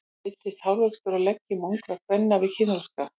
Breytist hárvöxtur á leggjum ungra kvenna við kynþroska?